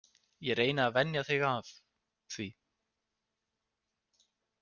Ég reyni að venja þig af því.